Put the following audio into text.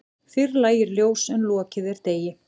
Fyrr lægir ljós en lokið er degi.